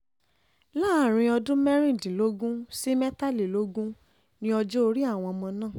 láàrin ọdún mẹ́rìndínlógún sí mẹ́tàlélógún ní ọjọ́ orí àwọn ọmọ náà